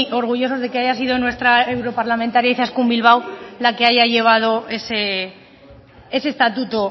orgullosos de que haya sido nuestra europarlamentaria izaskun bilbao la que haya llevado ese estatuto